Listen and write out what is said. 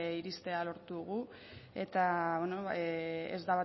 iristea lortu dugu eta ez